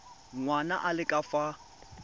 ngwana a le ka fa